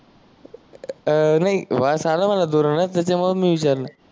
अं नाही वास आला मना दुरूनस म्हणून मी विचारल नाही